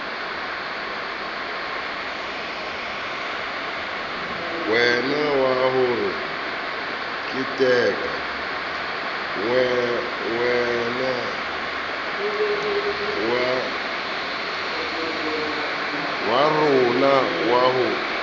wa rona wa ho keteka